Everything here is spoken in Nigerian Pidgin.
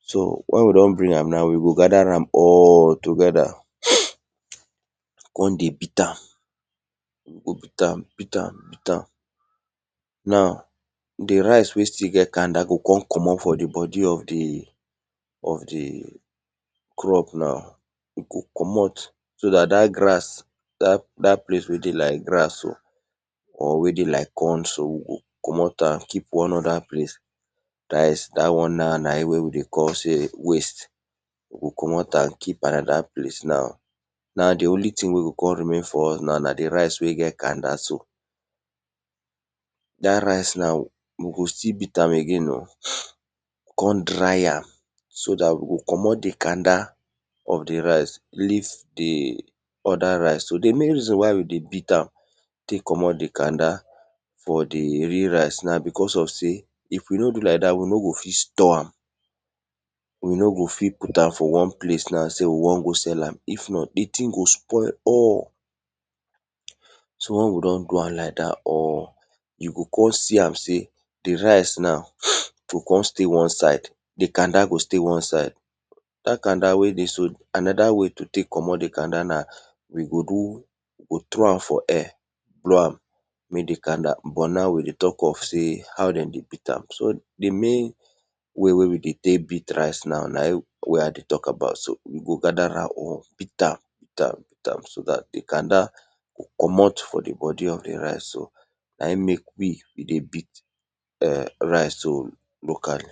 So wen we don bring am now, we go gather am all together kon deyh beat am, we go beat am beeat am beat am, naw, di rice wey still get canda go kon commot for di bodi of di crop na so dat dat grass dat place wey dey like grass or wey dey like corn so, we o commot am keep dat won na e wey dey call waste, we o commot am keepo am anoda place and di only thing wey go remain na di ric wey get canda so. Da ric we go still be a t am again kon dry am so dat we go commot di canda of di rice leave di other rice so di main reason why we dey beat am tek commot di canda from di real rice na because of sey if we no do like dat, we no go fit store am, we no go fit put am for wan place na sey we won go sekll am if not, di thing go spoil all. So wen we don do am like dt, we go kon see am sey di rice now go kon stay wan side, di kanda go kon stay wan side, dat kanda wey you see so anoda way to tek commot di kanda na we go do we go throw am for air blow am but na we dey talk of sey how dem dey beat am so now di way wey we de tek beat rice na in we dey talk about. We go gather ram or beat am beat am beat am so dt di kanda go commot for di bodi of di rice o na e mek we dey beat rice locally.